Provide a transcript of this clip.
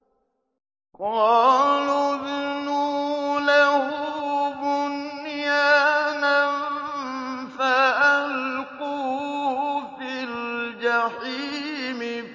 قَالُوا ابْنُوا لَهُ بُنْيَانًا فَأَلْقُوهُ فِي الْجَحِيمِ